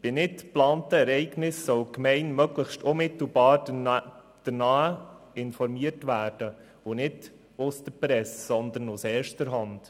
Bei nicht geplanten Ereignissen sollen die Gemeinden möglichst unmittelbar danach informiert werden, und zwar nicht durch die Presse, sondern aus erster Hand.